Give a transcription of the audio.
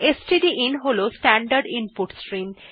stdin হল standard input stream